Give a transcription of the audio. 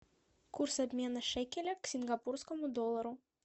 курс обмена шекеля к сингапурскому доллару